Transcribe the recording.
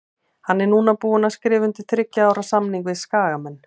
Hann er núna búinn að skrifa undir þriggja ára samning við Skagamenn.